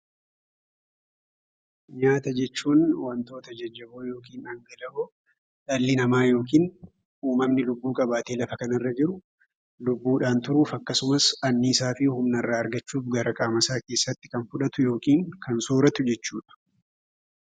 Nyaata jechuun wantoota jajjaboo yookiin dhangala'oo dhalli namaa yookiin lubbu-qabeeyyiin lubbuudhaan turuuf, anniisaa fi humna irraa argachuuf gara qaama isaatti fudhatu yookiin sooratu jechuudha.